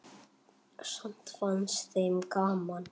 Samt fannst þeim gaman.